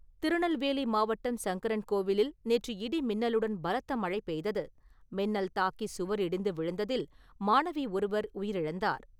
திருநெல்வேலி மாவட்டம் சங்கரன் கோவிலில் நேற்று இடி மின்னலுடன் பலத்த மழை பெய்தது. மின்னல் தாக்கி சுவர் இடிந்து விழுந்ததில் மாணவி ஒருவர் உயிரிழந்தார்.